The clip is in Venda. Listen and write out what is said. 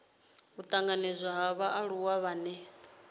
u tanganedzwa ha vhaaluwa vhane